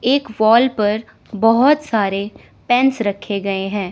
एक वॉल पर बहोत सारे पेंस रखे गए हैं।